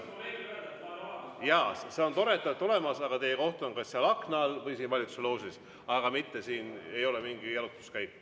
Jaa, see on tore, et te olete olemas, aga teie koht on kas seal aknal all või siin valitsuse loožis, aga mitte siin, see ei ole mingi jalutuskäik.